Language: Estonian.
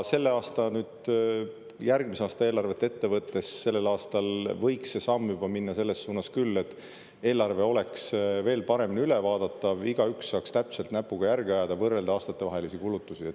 Ja järgmise aasta eelarvet ette võttes sellel aastal võiks see samm juba minna selles suunas küll, et eelarve oleks veel paremini ülevaadatav, igaüks saaks täpselt näpuga järge ajada, võrrelda aastatevahelisi kulutusi.